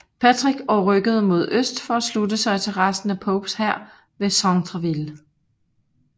Patrick og rykkede mod øst for at slutte sig til resten af Popes hær ved Centreville